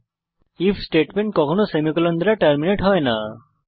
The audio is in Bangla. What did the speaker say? আইএফ স্টেটমেন্ট কখনও সেমিকোলন দ্বারা টার্মিনেট হয় না